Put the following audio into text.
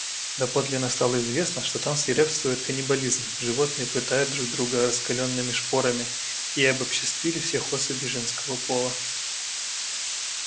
доподлинно стало известно что там свирепствует каннибализм животные пытают друг друга раскалёнными шпорами и обобществили всех особей женского пола